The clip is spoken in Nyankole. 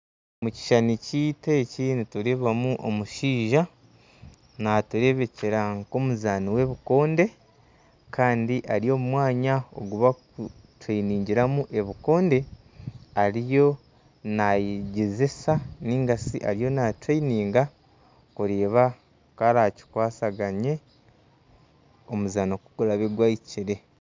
Omukishushani kyaitu eki nitureebamu omushaija, naaturebekyera nk'omuzaani w'ebikoonde kandi ari omu mwanya ogu barikutendekyeramu ebikoonde ariyo naayegyesesa kureeba oku arakikwasaganye omuzaano ku guraabe gwahikire